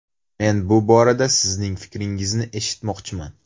Men bu borada sizning fikringizni eshitmoqchiman.